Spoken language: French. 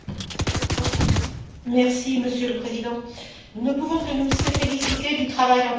Monsieur le Président, nous ne pouvons que nous féliciter du travail entrepris par l'ONU sur les migrations.